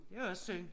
Det er jo også synd